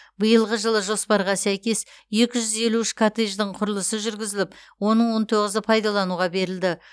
биылғы жылы жоспарға сәйкес екі жүз елу үш коттедждің құрылысы жүргізіліп оның он тоғызы пайдалануға берілді